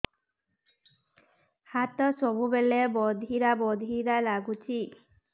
ହାତ ସବୁବେଳେ ବଧିରା ବଧିରା ଲାଗୁଚି